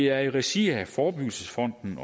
er i regi af forebyggelsesfonden